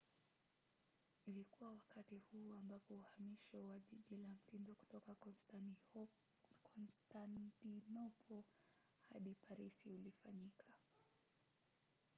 ilikuwa wakati huu ambapo uhamisho wa jiji la mtindo kutoka konstantinopo hadi parisi ulifanyika